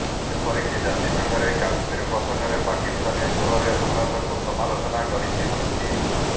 ଏପରକି ଜାତିସଂଘରେ କାଶ୍ମୀର ପ୍ରସଙ୍ଗରେ ପାକିସ୍ତାନୀ ସ୍ୱରରେ ଭାରତକୁ ସମାଲୋଚନା କରିଛି ତୁର୍କୀ